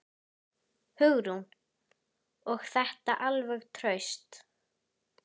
Hugrún: Og þetta alveg traust?